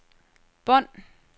bånd